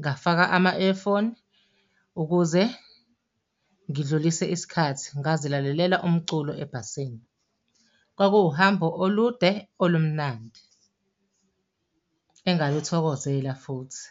ngafaka ama-earphone ukuze ngidlulise isikhathi ngazilalelela umculo ebhasini. Kwakuwuhambo olude, olumnandi engakuthokozela futhi.